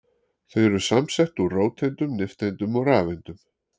Þau eru samsett úr róteindum, nifteindum og rafeindum.